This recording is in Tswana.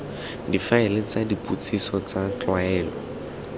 difaele tsa dipotsiso tsa tlwaelo